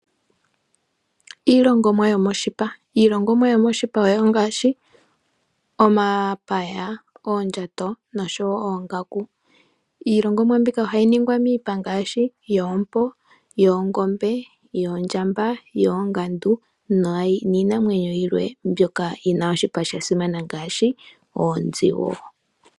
Iilongomwa yoshipa ongaashi omapaya, oondjato oshowo oongaku. Iilongomwa mbika ohayi longwa moshipa yompo, oongombe, oongandu niinamwenyo yimwe mbyoka yina oshipa shasimana ngaashi oonzi.